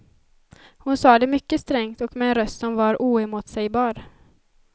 Hon sa det mycket strängt och med en röst som var oemotsägbar.